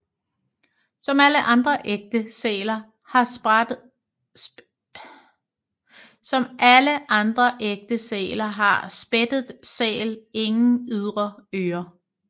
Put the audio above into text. Som alle andre ægte sæler har spættet sæl ingen ydre ører